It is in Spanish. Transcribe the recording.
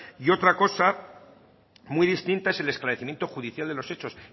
y otra cosa muy distinta es el esclarecimiento judicial de los hechos